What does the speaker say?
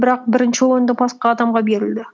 бірақ бірінші орынды басқа адамға берілді